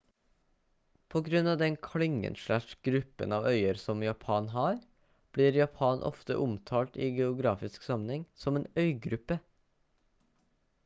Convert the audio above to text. på grunn av den klyngen/gruppen av øyer som japan har blir japan ofte omtalt i geografisk sammenheng som en «øygruppe»